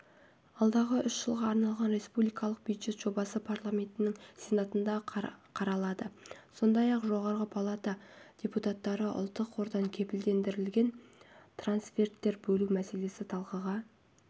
алдағы үш жылға арналған республикалық бюджет жобасы парламентінің сенатында қаралады сондай-ақ жоғарғы палата депутаттары ұлттық қордан кепілдендірілген трансферттер бөлу мәселелесін талқыға